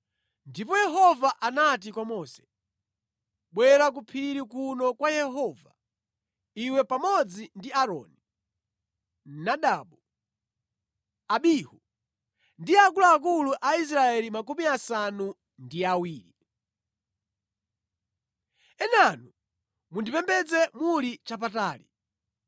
Ndipo Yehova anati kwa Mose, “Bwera ku phiri kuno kwa Yehova, iwe pamodzi ndi Aaroni, Nadabu, Abihu ndi akuluakulu a Israeli makumi asanu ndi awiri. Enanu mundipembedze muli chapatali.